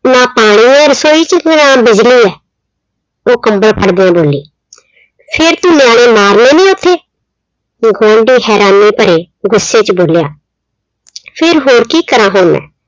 ਨਾ ਪਾਣੀ ਆ ਰਸੋਈ ਚ ਨਾ ਬਿਜਲੀ ਆ, ਉਹ ਕੰਬਲ ਫੜ ਕੇ ਬੋਲੀ। ਫਿਰ ਤੂੰ ਨਿਆਣੇ ਮਾਰਨੇ ਨੇ ਉੱਥੇ, ਉਹ ਗੁਆਂਢੀ ਹੈਰਾਨੀ ਭਰੇ ਗੁੱਸੇ ਚ ਬੋਲਿਆ ਫਿਰ ਹੋਰ ਕੀ ਕਰਾਂ ਹੁਣ ਮੈਂ